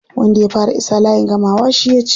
Wanda ya fara isa layin gamawa shi ya ci.